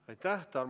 Aitäh!